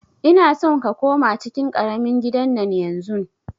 Ina son ka koma cikin ƙaramin gidan nan yanzun!